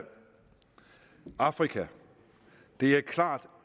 afrika det er klart